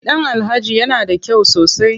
Gidan Alhaji ya na da kyau sosai.